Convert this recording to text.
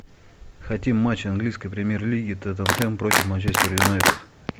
хотим матч английской премьер лиги тоттенхэм против манчестер юнайтед